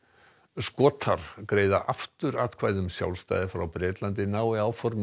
Skotar greiða aftur atkvæði um sjálfstæði frá Bretlandi nái áform